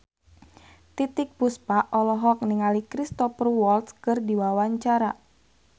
Titiek Puspa olohok ningali Cristhoper Waltz keur diwawancara